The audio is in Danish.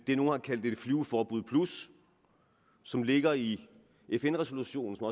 det nogle har kaldt et flyveforbud plus som ligger i fn resolutionen og